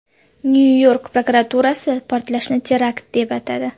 Nyu-York prokuraturasi portlashni terakt deb atadi.